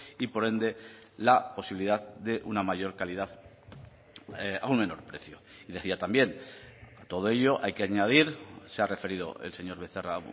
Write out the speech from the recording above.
y por ende la posibilidad de una mayor calidad a un menor precio y decía también todo ello hay que añadir se ha referido el señor becerra